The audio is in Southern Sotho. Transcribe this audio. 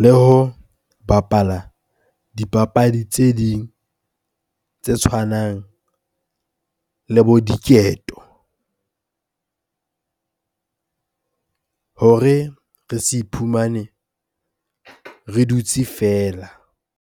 le ho bapala dipapadi tse ding tse tshwanang le bo diketo hore re se iphumane re dutse feela.